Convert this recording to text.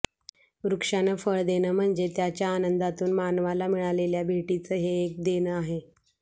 वृक्षानं फळं देणं म्हणजे त्याच्या आनंदातून मानवाला मिळालेल्या भेटीचं ते एक देणं आहे